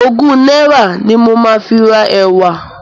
Ogún náírà ni mo máa fi ra ẹ̀wà.